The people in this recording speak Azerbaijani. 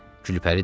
Gülpəri dedi: